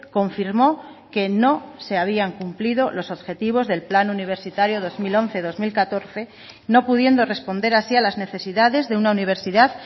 confirmó que no se habían cumplido los objetivos del plan universitario dos mil once dos mil catorce no pudiendo responder así a las necesidades de una universidad